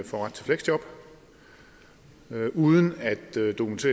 får ret til fleksjob uden at